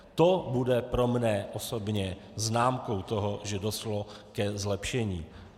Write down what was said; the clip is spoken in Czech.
To bude pro mne osobně známkou toho, že došlo ke zlepšení.